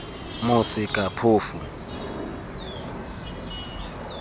mosekaphofu